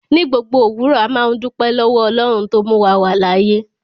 Ní gbogbo owurọ̀, àmà n dúpẹ̀ lọ́wọ̀ Ọlọ́run tó múwa wà láàyè.